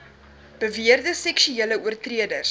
beweerde seksuele oortreders